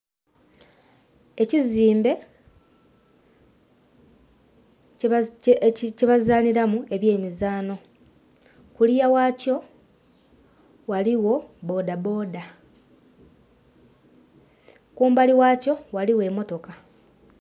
Ekizimbe kyebazanhiramu ebyemizanho, kuliya ghakyo ghaligho bodaboda, kumbali ghakyo ghaligho emotoka.